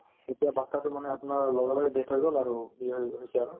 এতিয়া batches তোৰ মানে আপোনাৰ লগে লগে death হৈ গ'ল আৰু হৈ~ হৈছে আৰু